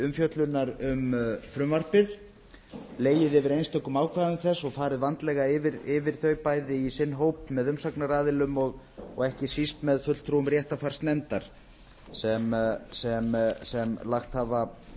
umfjöllunar um frumvarpið legið yfir einstökum ákvæðum þess og farið vandlega yfir þau bæði í sinn hóp með umsagnaraðilum og ekki síst með fulltrúum réttarfarsnefndar sem lagt hafa